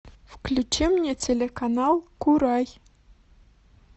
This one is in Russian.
включи мне телеканал курай